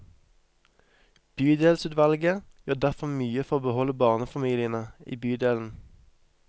Bydelsutvalget gjør derfor mye for å beholde barnefamiliene i bydelen.